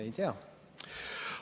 Ei tea.